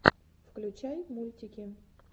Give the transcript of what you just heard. включай мультики